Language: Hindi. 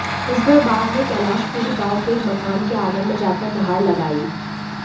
इस बार बाघ ने कैलाशपुरी गांव के एक मकान के आंगन में जाकर दहाड़ लगाई